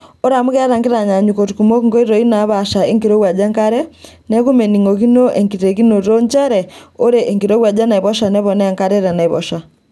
Ore amu keeta nkitanyaanyuk kumok nkoitoi naapasha enkirowuaj enkare neeku meningokino enkitekinoto nchere ore enkirowuaj enaiposha neponaa enkare toonaiposha.